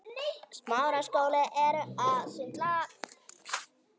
Þá kom í ljós að